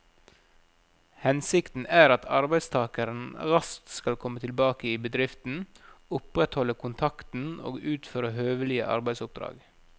Hensikten er at arbeidstakeren raskt skal komme tilbake i bedriften, opprettholde kontakten og utføre høvelige arbeidsoppdrag.